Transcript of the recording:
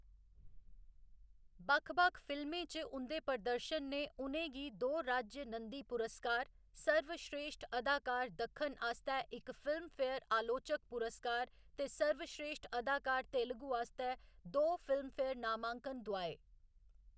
बक्ख बक्ख फिल्में च उं'दे प्रदर्शन ने उ'नें गी दो राज्य नंदी पुरस्कार, सर्वश्रेश्ठ अदाकार दक्खन आस्तै इक फिल्मफेयर अलोचक पुरस्कार ते सर्वश्रेश्ठ अदाकार तेलुगू आस्तै दो फिल्मफेयर नामांकन दुआए।